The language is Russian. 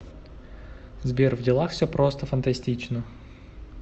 сбер в делах все просто фантастично